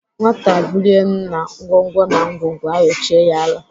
Nwata bulie nna, ngwongwo na ngwongwo ayochie ya ala.